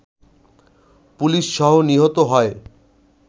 পুলিশসহ নিহত হয়